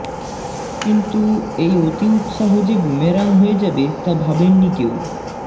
কিন্ত এই অতি উৎসাহ যে বুমেরাং হয়ে যাবে তা ভাবেননি কেউ